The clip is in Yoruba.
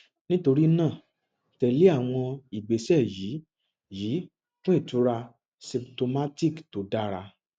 nítorí náà tẹ lé àwọn ìgbésẹ yìí yìí fún ìtura symptomatic tó dára